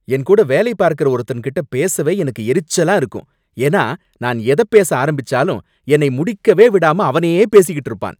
என்கூட வேலை பார்க்கற ஒருத்தன்கிட்ட பேசவே எனக்கு எரிச்சலா இருக்கும், ஏன்னா நான் எத பேச ஆரம்பிச்சாலும் என்னை முடிக்கவே விடாம அவனே பேசிக்கிட்டு இருப்பான்.